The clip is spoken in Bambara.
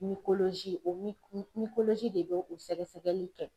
o mi de bɛ o sɛgɛsɛgɛli kɛ.